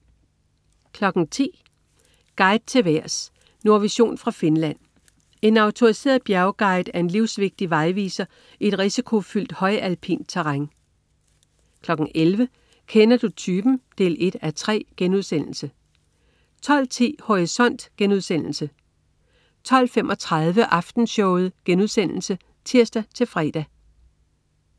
10.00 Guide til vejrs. Nordvision fra Finland. En autoriseret bjergguide er en livsvigtig vejviser i et risikofyldt højalpint terræn 11.00 Kender du typen? 1:3* 12.10 Horisont* 12.35 Aftenshowet* (tirs-fre)